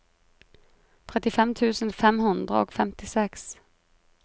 trettifem tusen fem hundre og femtiseks